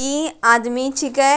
ई आदमी छीके।